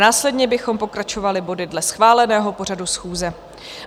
Následně bychom pokračovali body dle schváleného pořadu schůze.